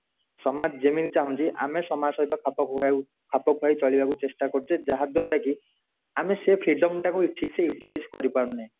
ସମାଜ ଯେମିତି ଚାହୁଁଛି ଆମେ ସମାଜସହିତ ଖାପ ଖୁଆ ହେଇ ଚଳିବାକୁ ଚେଷ୍ଟା କରୁଚେ ଯାହାଦୁୟାରା କି ଆମେ ସେ freedom ଟାକୁ ଠିକସେ utilize କରି ପରୁନେ